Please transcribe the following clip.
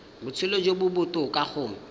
botshelo jo bo botoka go